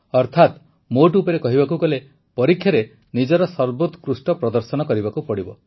ଅର୍ଥାତ ମୋଟ ଉପରେ କହିବାକୁ ଗଲେ ପରୀକ୍ଷାରେ ନିଜର ସର୍ବୋତ୍କୃଷ୍ଟ ପ୍ରଦର୍ଶନ କରିବାକୁ ପଡ଼ିବ